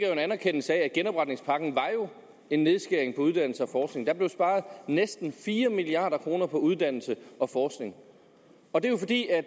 jo en anerkendelse af at genopretningspakken var en nedskæring på uddannelse og forskning der blev sparet næsten fire milliard kroner på uddannelse og forskning og det